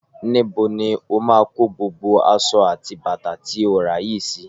Níbo ni ó máa kọ gbogbo aṣọ àti bàtà tí o rà yìí sí?